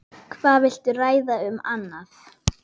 Hvað viltu ræða um annað?